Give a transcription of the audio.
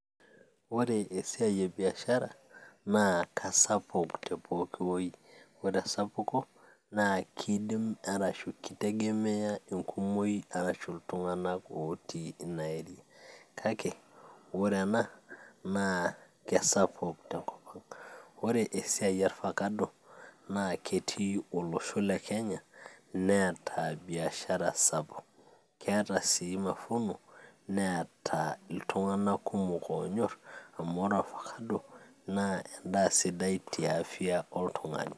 ore esiai e biashara naa kasapuk te pooki woi ore esapuko naa kidim arashu kitegemeya enkumoi arashu iltung'anak otii ina area kake wore ena naa kesapuk tenkop ang, ore esiai orfakado naa ketii olosho le kenya neeta biashara sapuk keeeta sii mafuno neeta iltung'anak kumok oonyorr amu ore orfakado naa endaa sidai tiafia oltung'ani.